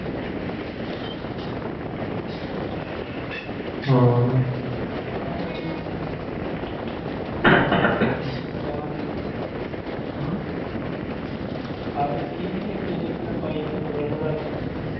ਹਾਂ ਠੀਕ ਆ ਵਧੀਆ ਭੈਨਚੋ ਗਾਂ ਦੀ ਆਹ ਵੇਖੀ ਸੀ ਇਕ ਜਿਹੜੀ ਮੈਂ ਪਾਈ ਤੈਨੂੰ ਰਬੜ ਆਲੀ